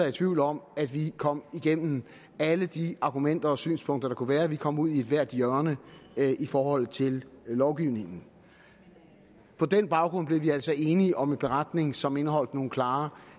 i tvivl om at vi kom igennem alle de argumenter og synspunkter der kunne være vi kom ud i ethvert hjørne i forhold til lovgivningen på den baggrund blev vi altså enige om en beretning som indeholdt nogle klare